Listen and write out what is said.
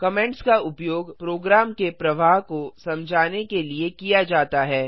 comments का उपयोग program के प्रवाह को समझने के लिए किया जाता है